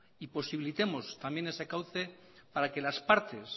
y posibilitemos también ese cauce para que las partes